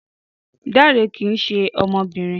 Dare kìí ṣe ọmọbìnrin